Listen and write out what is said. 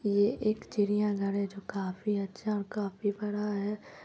ये एक चिड़िया घर है जो काफी अच्छा है और काफी बड़ा है।